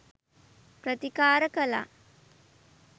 ප්‍රතිකාර කළා.